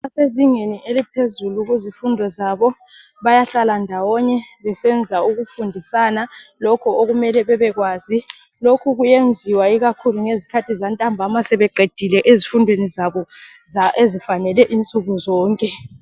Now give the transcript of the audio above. Abezingeni eliphezulu kuzifundo zabo bayahlalandawonye besenza ukufundisana lokho okumele bebekwazi. Lokhu kuyenziwa ngezikhathi zantambama sebeqedile izifundweni zabo ezifanele insuku sonke.